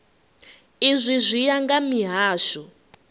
izwi zwi ya nga mihasho